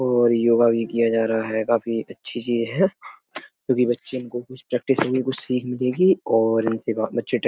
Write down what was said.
और योगा भी किया जा रहा है। काफी अच्छी चीज है क्योंकि बच्चे इनको कुछ कुछ सीख मिलेगी और इनसे बच्चे --